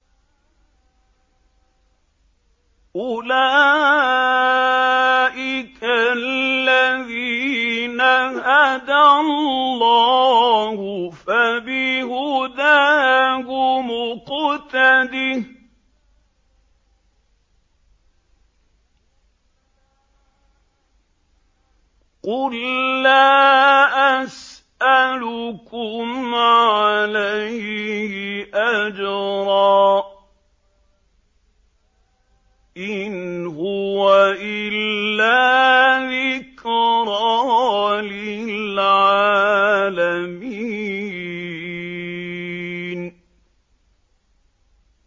أُولَٰئِكَ الَّذِينَ هَدَى اللَّهُ ۖ فَبِهُدَاهُمُ اقْتَدِهْ ۗ قُل لَّا أَسْأَلُكُمْ عَلَيْهِ أَجْرًا ۖ إِنْ هُوَ إِلَّا ذِكْرَىٰ لِلْعَالَمِينَ